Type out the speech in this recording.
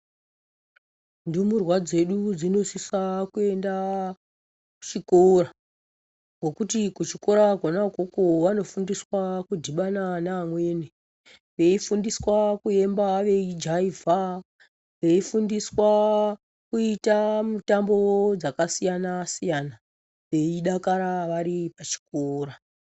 Ndumurwa dzedu dzinosisa kuenda kuchikora. Ngekuti kuchikora kwona ukoko, vanofundiswa kudhibana nevamweni. Veifundiswa kuemba, veijaivha. Veifundiswawo kuita mitambo yakasiyana-siyana, veidakara vari pachikora.